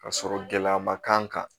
Ka sɔrɔ gɛlɛya ma k'an kan